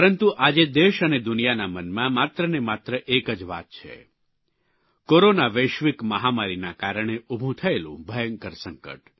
પરંતુ આજે દેશ અને દુનિયાના મનમાં માત્ર ને માત્ર એક જ વાત છે કોરોના વૈશ્વિક મહામારીના કારણે ઉભું થયેલું ભયંકર સંકટ